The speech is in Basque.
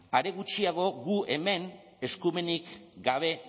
are gutxiago guk hemen eskumenik gabe